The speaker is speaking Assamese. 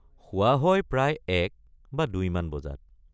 শোৱা হয় প্ৰায় ১॥ বা ২ মান বজাত।